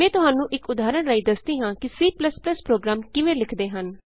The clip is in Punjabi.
ਮੈਂ ਤੁਹਾਨੂੰ ਇਕ ਉਦਾਹਰਣ ਰਾਹੀਂ ਦੱਸਦੀ ਹਾਂ ਕਿ C ਪ੍ਰੋਗਰਾਮ ਕਿਵੇਂ ਲਿਖਦੇ ਹਨ